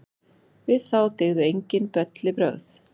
Við þá dygðu enginn bellibrögð.